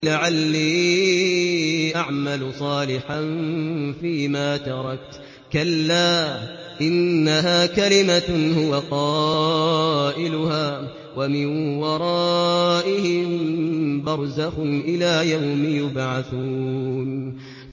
لَعَلِّي أَعْمَلُ صَالِحًا فِيمَا تَرَكْتُ ۚ كَلَّا ۚ إِنَّهَا كَلِمَةٌ هُوَ قَائِلُهَا ۖ وَمِن وَرَائِهِم بَرْزَخٌ إِلَىٰ يَوْمِ يُبْعَثُونَ